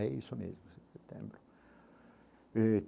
É isso mesmo, setembro eh.